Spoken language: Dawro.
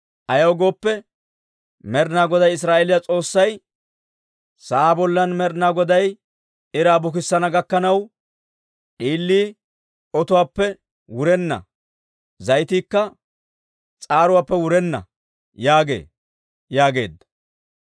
Ayaw gooppe, Med'inaa Goday Israa'eeliyaa S'oossay, ‹Sa'aa bollan Med'inaa Goday iraa bukissana gakkanaw, d'iilii otuwaappe wurenna; zayitiikka s'aaruwaappe wurenna› yaagee» yaageedda.